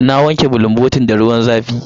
Na wanke bulunbotin da ruwan zafi.